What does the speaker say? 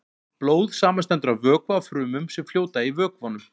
Blóð samanstendur af vökva og frumum sem fljóta í vökvanum.